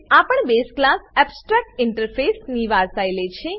આ પણ base class abstract interface ની વારસાઈ લે છે